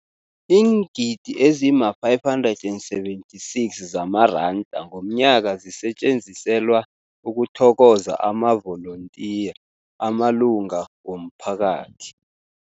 Iingidi ezima-576 zamaranda ngomnyaka zisetjenziselwa ukuthokoza amavolontiya amalunga womphakathi.